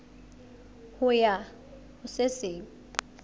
ho ya ho se seng